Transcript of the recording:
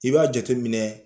I b'a jate minɛ